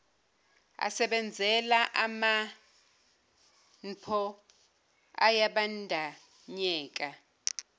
asebenzela amanpo ayabandanyeka